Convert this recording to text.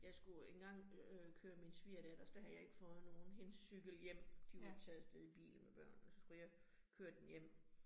Jeg skulle engang øh køre min svigerdatters, der havde jeg ikke fået nogen hendes cykel hjem. De var taget af sted i bilen med børnene, så skulle jeg køre den hjem